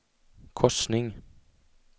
korsning